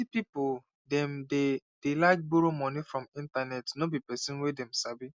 plenty people dem dey dey like borrow moni from internet no be person wey them sabi